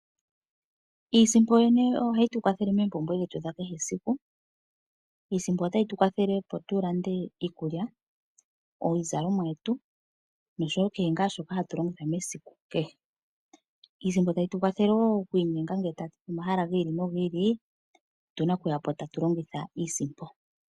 Iisimpo yoyene oyo hayi tukwathele moompumbwe dhetu dha kehe esiku. Iisimpo otayi tukwathele opo tulande iikulya ,iizalomwa noshowo kehe ngaa shoka tatu longitha mesiku kehe. Iisimpo tayi tukwathele ngele tatuyi pomahala gi ili nogi ili otuna okuyapo tatu longitha Iisimpo.